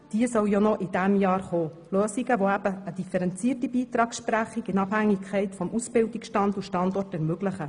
Diese Lösungen sollen eine differenzierte Beitragsleistung nach Ausbildungsstand und Praxisstandort ermöglichen.